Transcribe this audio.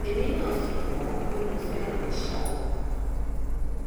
èmi náà fi hàn án pé mo fẹràn ẹ ṣáá o